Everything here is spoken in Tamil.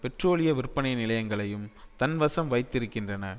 பெட்ரோலிய விற்பனை நிலையங்களையும் தன்வசம் வைத்திருக்கின்றன